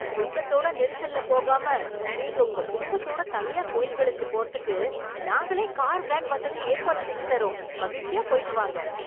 கூட்டத்தோட நெரிசல்ல போகாம, நீங்க உங்க குடும்பத்தோட தனியா கோயில்களுக்கு போறதுக்கு, நாங்களே கார், வேன் வசதி ஏற்பாடு செஞ்சு தர்றோம்... மகிழ்ச்சியா போய்ட்டு வாங்க.